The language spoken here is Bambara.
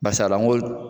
Barisa lankolon